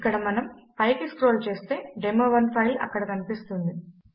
ఇక్కడ మనము పైకి స్క్రోల్ చేస్తే డెమో1 ఫైల్ అక్కడ కనిపిస్తుంది